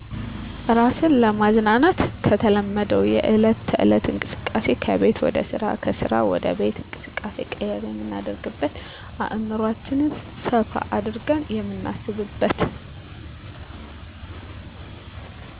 እራስን ለማዝናናት ከተለመደዉ የዕለት ተዕለት እንቅስቃሴ ከቤት ወደ ስራ ከስራ ወደ ቤት እንቅስቃሴ ቀየር የምናደርግበት አዕምሯችን ሰፋ አድርገን የምናስብበት